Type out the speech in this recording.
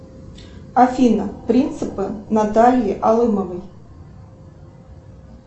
афина принципы натальи алымовой